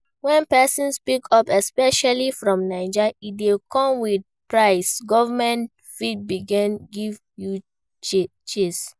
When person speak up especially for naija e dey come with price, government fit begin give you chase